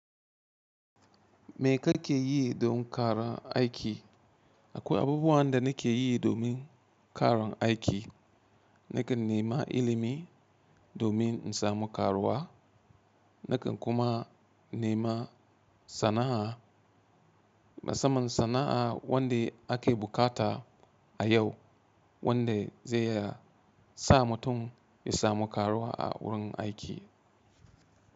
Me ka ke yi don ƙaran aiki? Akwai abubuwan da na ke yi domin ƙaran aiki. Nakan nema ilimi domin in samu karuwa. Nakan kuma nema sana'a, musamman sana'a wanda ake bukata a yau wanda zai sa mutum ya samu karuwa a wurin aiki.